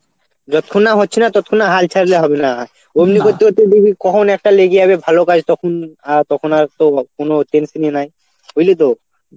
যতক্ষণে হচ্ছে না ততক্ষণে হাল ছাড়লে হবে না এমনি করতে করতে দেখবি কখন একটা লেগে যাবে ভালো কাজ তখন আর তখন আর তো কোন tension ই নাই. বুঝলি তো?